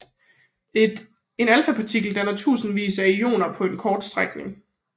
En alfapartikel danner tusindvis af ioner på en kort strækning